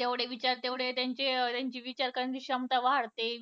तेवढे विचार तेवढे त्यांची विचार करण्याची क्षमता वाढते.